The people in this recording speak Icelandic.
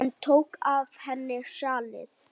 Hann tók af henni sjalið.